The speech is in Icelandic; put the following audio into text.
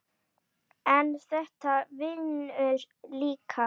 en þetta vinnur líka.